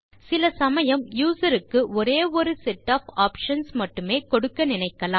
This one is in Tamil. சில சமயம் யூசர் க்கு ஒரே ஒரு செட் ஒஃப் ஆப்ஷன்ஸ் மட்டுமே கொடுக்க நினைக்கலாம்